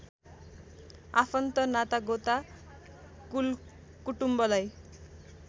आफन्त नातागोता कुलकुटुम्बलाई